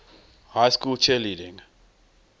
high school cheerleading